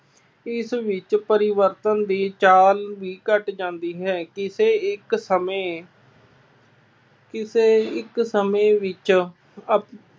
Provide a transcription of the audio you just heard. ਇਸ ਵਿੱਚ ਪਰਿਵਰਤਨ ਦੀ ਚਾਲ ਹੀ ਘੱਟ ਜਾਂਦੀ ਹੈ। ਕਿਸੇੇ ਇੱਕ ਸਮੇਂ ਕਿਸੇ ਇੱਕ ਸਮੇਂ ਵਿੱਚ ਆਪ